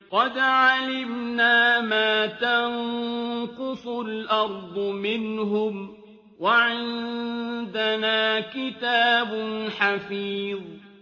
قَدْ عَلِمْنَا مَا تَنقُصُ الْأَرْضُ مِنْهُمْ ۖ وَعِندَنَا كِتَابٌ حَفِيظٌ